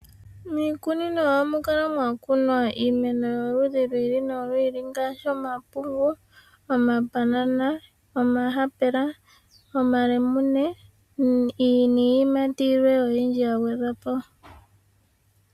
Miikunino ohamu kala mwakunwa iimeno yomaludhi gi ili nogili ngaashi omapungu, omambanana, omayapula, omalamune niiyimati yilwe oyindji yagwedhwa po.